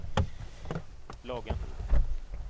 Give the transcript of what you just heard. Lagan